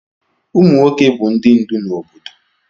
Ụmụ nwoke bụ ndị ndú na obodo